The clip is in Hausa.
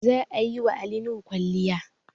Za a yi wa Ali Nuhu kwalliay